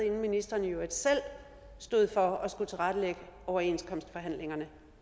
inden ministeren i øvrigt selv stod for at skulle tilrettelægge overenskomstforhandlingerne